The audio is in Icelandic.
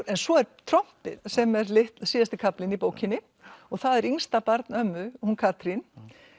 en svo er trompið sem er síðasti kaflinn í bókinni og það er yngsta barn ömmu hún Katrín